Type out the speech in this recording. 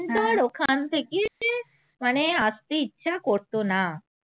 মানে আসতে ইচ্ছা করত না